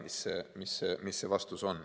Ma ei tea, mis vastus on.